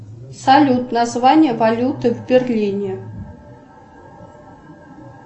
салют название валюты в берлине